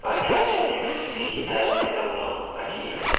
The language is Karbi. achar sintex isi ta thek damlong ake ik.